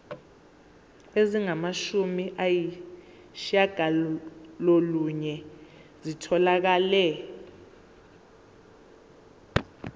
ezingamashumi ayishiyagalolunye zitholakele